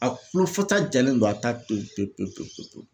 A kulo fasa jalen don a t'a toyi pe pe pe pe pe .